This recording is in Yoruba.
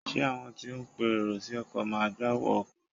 Ṣé àwọn tí ó ń pe èrò sí ọkọ̀ máa gba owó ọkọ̀?